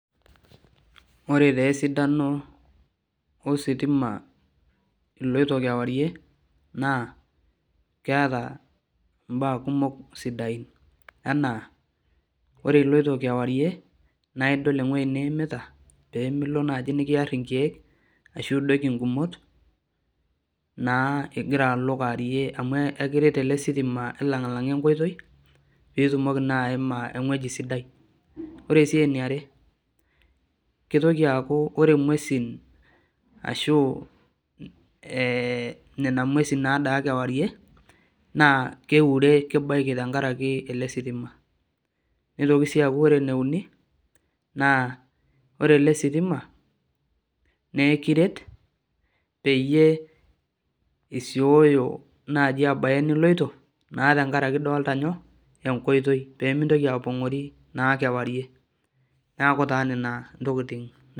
Ore taa esidano ositima iloito kewarie naa keeta mbaa kumok sidain enaa Ore iloito kewarie naa idol ewueji niimita pee milo naai nikiarr nkeek ashu idoiki nkumot.